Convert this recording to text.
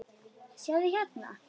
sjáðu, hérna.